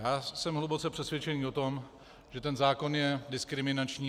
Já jsem hluboce přesvědčený o tom, že ten zákon je diskriminační.